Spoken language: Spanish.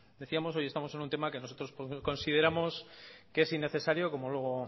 decíamos hoy estamos en un tema que nosotros consideramos que es innecesario como luego